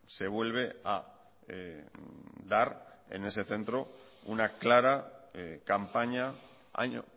se vuelve a dar en ese centro una clara campaña año